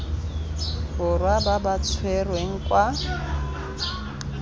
borwa ba ba tshwerweng kwa